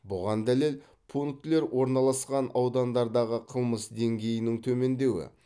бұған дәлел пунктілер орналасқан аудандардағы қылмыс деңгейінің төмендеуі